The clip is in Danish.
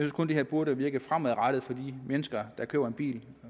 kun det her burde virke fremadrettet for de mennesker der køber en bil